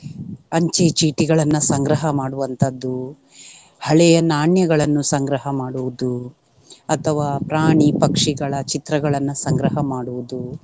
ಅಂಚೆ ಚೀಟಿಗಳನ್ನ ಸಂಗ್ರಹ ಮಾಡುವಂತಹದ್ದು, ಹಳೆಯ ನಾಣ್ಯಗಳನ್ನು ಸಂಗ್ರಹ ಮಾಡುವುದು ಅಥವಾ ಪ್ರಾಣಿ ಪಕ್ಷಿಗಳ ಚಿತ್ರಗಳನ್ನ ಸಂಗ್ರಹ ಮಾಡುವುದು.